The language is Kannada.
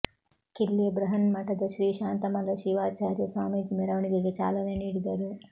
ಕಿಲ್ಲೆ ಬೃಹನ್ಮಠದ ಶ್ರೀ ಶಾಂತಮಲ್ಲ ಶಿವಾಚಾರ್ಯ ಸ್ವಾಮೀಜಿ ಮೆರವಣಿಗೆಗೆ ಚಾಲನೆ ನೀಡಿದರು